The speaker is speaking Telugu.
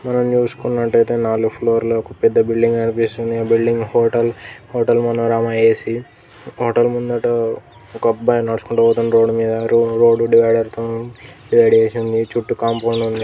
మనం చూసుకున్నటు అయితే నాలుగు ఫ్లోర్ ల ఒక పెద్ద బిల్డింగ్ కనిపిస్తుంది building hotel hotel Manorama A C hotel ముందట ఒక అబ్బాయి నడుసుకుంటా పోతున్నాడు రోడ్డు మీధ రోడ్డు డివఐడర్ తో నీ డివైడ్ చేసి ఉంది చుట్టూ కాంపౌండ్ వాల్ --